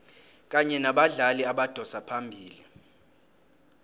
kanye nabadlali abadosa phambili